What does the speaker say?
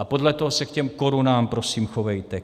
A podle toho se k těm korunám prosím chovejte.